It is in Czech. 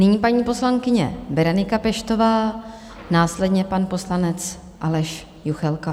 Nyní paní poslankyně Berenika Peštová, následně pan poslanec Aleš Juchelka.